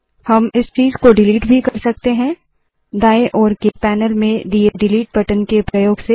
हम इस चीज़ को डिलीट भी कर सकते है दाएँ ओर के पैनल में दिए डिलीट बटन के प्रयोग से